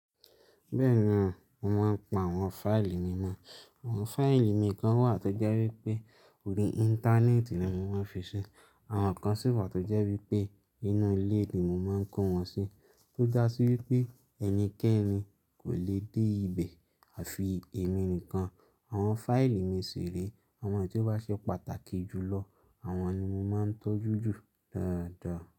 Bẹ́ẹ̀ni o, mo máa ń pa àwọn fáìlì mímọ̀. Àwọn fáìlì mi kan wà tó jẹ́ wípé orí Íńtánẹ́ẹ̀tì ni mo máa ń fi ṣí, àwọn kan sì wà tó jẹ́ wípé inú ilé ni mo máa ń kó wọn sí. Tó dá sí wípé ẹnikẹ́ni kò le dé ibẹ̀ àfi èmi nìkan. Àwọn fáìlì mi ṣìré, àwọn tí ó bá ṣe pàtàkì jù lọ, àwọn ni mo máa ń tọ́jú jù dáadáa.